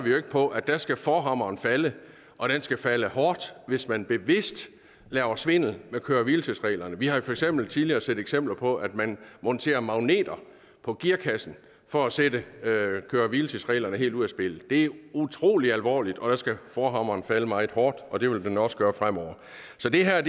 på at der skal forhammeren falde og den skal falde hårdt hvis man bevidst laver svindel med køre hvile tids reglerne vi har for eksempel tidligere set eksempler på at man monterer magneter på gearkassen for at sætte køre hvile tids reglerne helt ud af spillet det er utrolig alvorligt og der skal forhammeren falde meget hårdt og det vil den også gøre fremover så det er